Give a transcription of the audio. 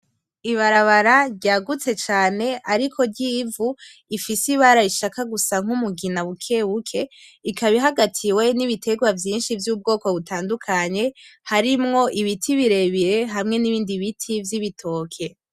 Ibarabara ryagutse cane ariko ry'ivu ifise ibara rishaka gusa nk'umugina bukebuke ikaba ihagatiwe n'ibiterwa vyinshi vyubwoko butandukanye. Harimwo ibiti birebire hamwe nibindi biti vy'ibitoke.